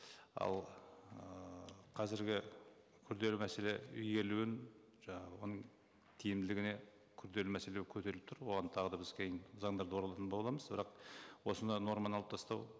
ал ыыы қазіргі күрделі мәселе игерілуін жаңағы оның тиімділігіне күрделі мәселе көтеріліп тұр оған тағы да біз кейін заңдарда оралатын боламыз бірақ осындай норманы алып тастау